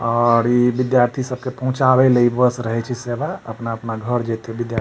और इ विद्यार्थी सब के पहुंचावे ले इ बस रहे छै सेवा अपना-अपना घर जएते विद्यार्थी।